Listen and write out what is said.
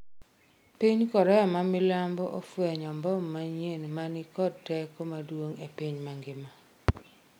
piny Korea ma milambo ofwenyo mbom manyien ma ni kod teko maduong' e piny mangima